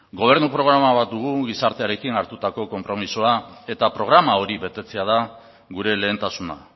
gobernu programa bat dugu gizartearekin hartutako konpromisoa eta programa hori betetzea da gure lehentasuna